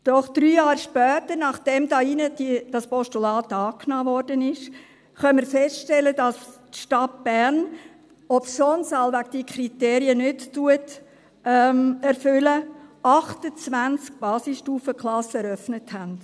Doch drei Jahre später, nachdem hier in diesem Saal das Postulat angenommen wurde, können wir feststellen, dass die Stadt Bern, obschon sie wohl diese Kriterien nicht erfüllt, 28 Basisstufenklassen eröffnet hat.